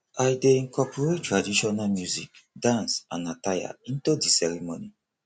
i dey incorporate traditional music dance and attire into di ceremony